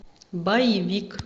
боевик